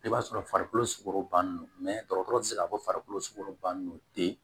I b'a sɔrɔ farikolo sukoro bannen don dɔgɔtɔrɔ tɛ se k'a fɔ farikolo bannen non tɛ